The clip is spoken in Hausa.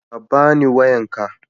Ka bani wayanka.